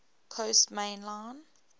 coast main line